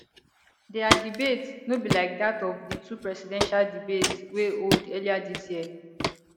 dia debate no be like dat of di two presidential debates wey hold earlier dis year